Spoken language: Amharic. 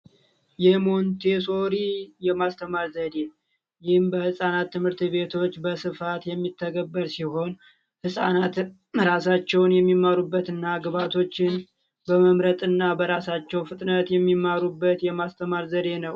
የሞንተሶሪ የማስተማር ዘዴ ዎች ትምህርት ቤቶች በስፋት የሚታገል ሲሆን ህጻናትን ራሳቸውን የሚመሩበት እናቶችን በመምረጥና በራሳቸው ፍጥነት የሚማሩበት የማስተማር ዘዴ ነው